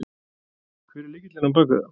Hver er lykillinn á bakvið það?